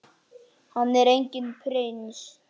Hann er enginn prins.